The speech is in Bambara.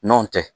Nɔntɛ